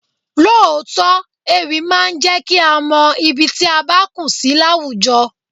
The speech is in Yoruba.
Lóòótọ́, ewì máa ń jẹ kí a mọ ibi tí a bá kù sí láwùjọ.